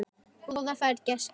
Góða ferð, gæskan!